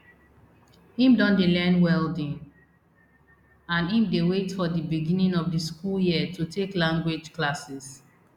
im don dey learn welding and im dey wait for di beginning of the school year to take language classes